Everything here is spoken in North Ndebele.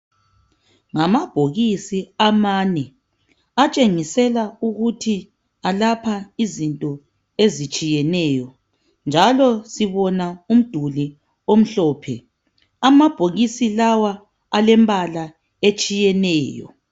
ngamabhokisi amane atshengisela ukuthi ayelapha izinto ezitshiyeneyo njalo sibona umduli omhlophe amabhokisi lawa alempala etshiyeneyo